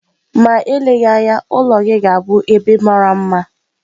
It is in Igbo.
Ma eleghị anya, ụlọ gị ga-abụ ebe mara mma